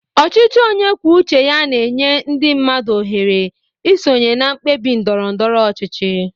Ọchịchị onye kwuo uche ya na-enye ndị mmadụ ohere isonye na mkpebi ndoro ndoro ọchịchị.